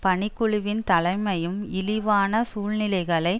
பணிக்குழுவின் தலைமையும் இழிவான சூழ்ச்சிகளை